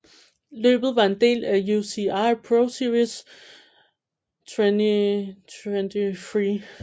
Løbet var en del af UCI ProSeries 2023